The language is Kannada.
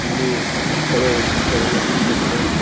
ಇಲ್ಲಿ ಮಕ್ಕಳು ನ್ರತ್ಯವನ್ನು ಮಾಡುತಿದ್ದಾರೆ ಅವು--